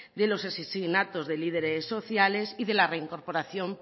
de los asesinatos del líderes sociales y de la reincorporación